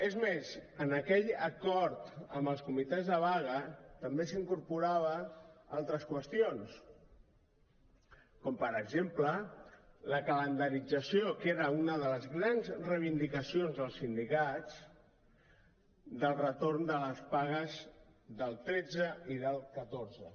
és més en aquell acord amb els comitès de vaga també s’incorporaven altres qüestions com per exemple la calendarització que era una de les grans reivindicacions dels sindicats del retorn de les pagues del tretze i del catorze